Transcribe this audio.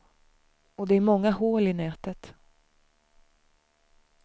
Och det är många hål i nätet.